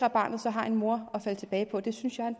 at barnet har en mor at falde tilbage på det synes jeg